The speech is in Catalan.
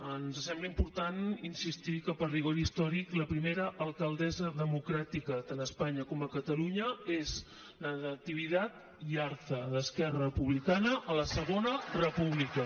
ens sembla important insistir que per rigor històric la primera alcaldessa democràtica tant a espanya com a catalunya és natividad yarza d’esquerra republicana a la segona república